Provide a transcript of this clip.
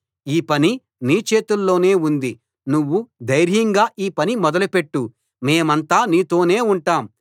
ఈ పని నీ చేతుల్లోనే ఉంది నువ్వు ధైర్యంగా ఈ పని మొదలు పెట్టు మేమంతా నీతోనే ఉంటాం